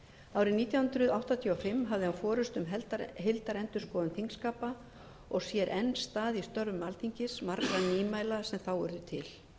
embætti árið nítján hundruð áttatíu og fimm hafði hann forustu um heildarendurskoðun þingskapa og sér enn stað í störfum alþingis margra nýmæla sem þá urðu til